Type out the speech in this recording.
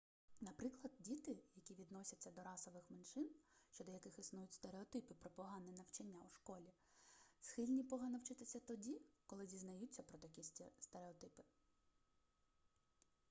наприклад діти які відносяться до расових меншин щодо яких існують стереотипи про погане навчання у школі схильні погано вчитися тоді коли дізнаються про такі стереотипи